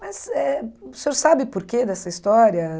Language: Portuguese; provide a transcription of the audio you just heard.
Mas eh o senhor sabe por que dessa história?